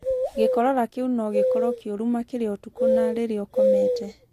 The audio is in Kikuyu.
Gĩkorora kĩu no gĩkorwo kĩũru makĩria ũtukũ na rĩrĩa ũkomete.